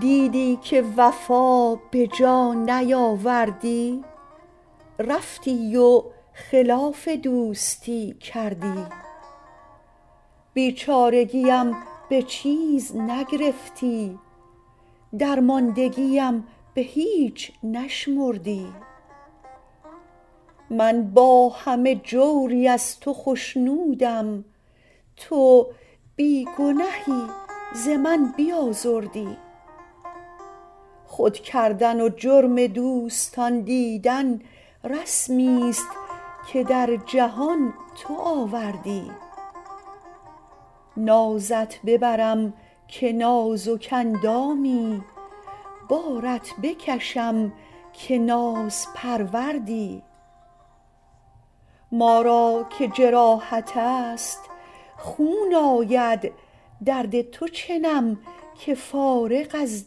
دیدی که وفا به جا نیاوردی رفتی و خلاف دوستی کردی بیچارگیم به چیز نگرفتی درماندگیم به هیچ نشمردی من با همه جوری از تو خشنودم تو بی گنهی ز من بیازردی خود کردن و جرم دوستان دیدن رسمیست که در جهان تو آوردی نازت ببرم که نازک اندامی بارت بکشم که نازپروردی ما را که جراحت است خون آید درد تو چنم که فارغ از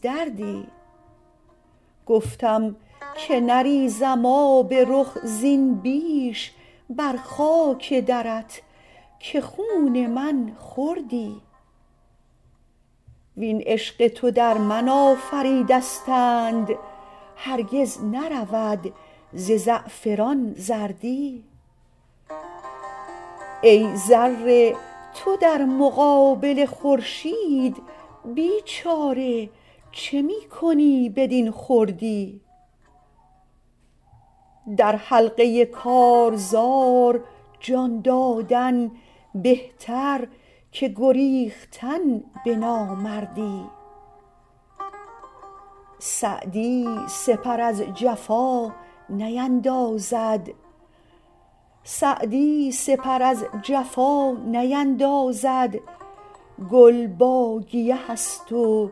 دردی گفتم که نریزم آب رخ زین بیش بر خاک درت که خون من خوردی وین عشق تو در من آفریدستند هرگز نرود ز زعفران زردی ای ذره تو در مقابل خورشید بیچاره چه می کنی بدین خردی در حلقه کارزار جان دادن بهتر که گریختن به نامردی سعدی سپر از جفا نیندازد گل با گیه است و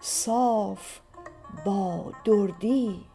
صاف با دردی